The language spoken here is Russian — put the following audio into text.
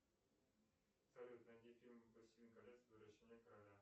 салют найди фильм властелин колец возвращение короля